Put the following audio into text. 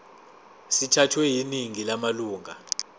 sithathwe yiningi lamalunga